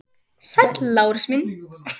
Sæll, Lárus minn.